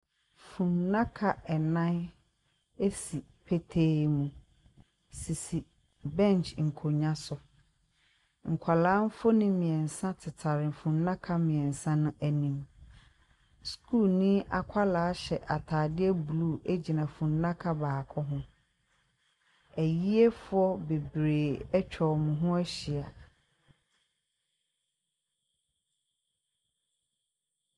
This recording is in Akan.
Funnaka nnan si petee mu, sisi bench nkonnwa so. Nkwadaa mfonin mmeɛnsa tetare funnaka mmeɛnsa no anim. Sukuuni akwadaa hyɛ atadeɛ blue gyina funnaka baako ho. Ayiefoɔ bebree atwa wɔn ho ahyia.